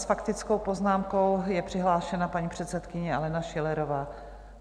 S faktickou poznámkou je přihlášena paní předsedkyně Alena Schillerová.